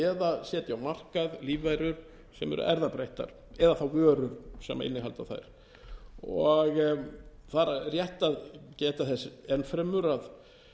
á makað lífverur sem eru erfðabreyttar eða þá vörur sem innihalda þær það er rétt að geta þess enn fremur að